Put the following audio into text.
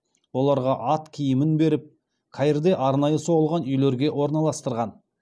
оларға ат киімін беріп каирде арнайы соғылған үйлерге орналастырған